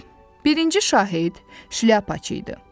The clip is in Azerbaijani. Birinci şahid Şlyapaçı idi.